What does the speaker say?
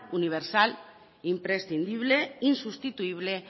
universal imprescindible insustituible